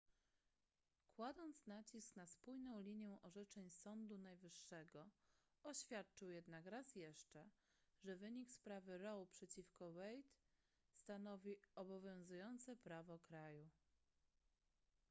kładąc nacisk na spójną linię orzeczeń sądu najwyższego oświadczył jednak raz jeszcze że wynik sprawy roe przeciwko wade stanowi obowiązujące prawo kraju